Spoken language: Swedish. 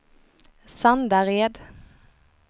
Sandared